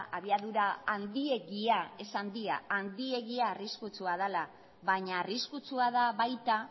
abiadura handiegia ez handia handiegia arriskutsua dela baina arriskutsua da baita